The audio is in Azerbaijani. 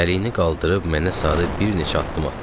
çəliyini qaldırıb mənə sarı bir neçə addım atdı.